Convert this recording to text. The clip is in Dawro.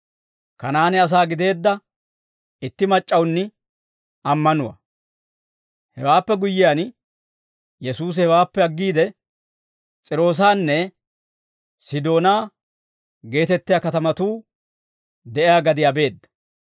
Hewaappe guyyiyaan, Yesuusi hewaappe aggiide, S'iiroosanne Sidoonaa geetettiyaa katamatuu de'iyaa gadiyaa beedda.